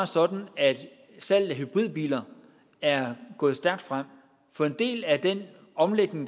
sådan at salget af hybridbiler er gået stærkt frem for en del af den omlægning